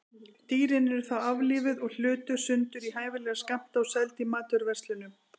Dýrin eru þá aflífuð og hlutuð sundur í hæfilega skammta og seld í matvöruverslunum.